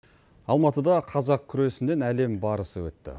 алматыда қазақ күресінен әлем барысы өтті